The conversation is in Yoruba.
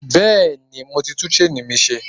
Bẹ́ẹ̀ni, mo ti tún ṣéènì mi ṣe.